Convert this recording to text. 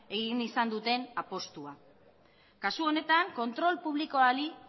egin izan duten apustua kasu honetan kontrol publikoari